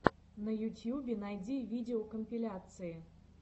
на ютьюбе найди видеокомпиляции